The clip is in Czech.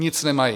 Nic nemají!